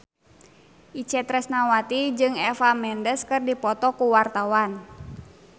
Itje Tresnawati jeung Eva Mendes keur dipoto ku wartawan